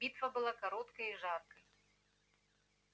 битва была короткой и жаркой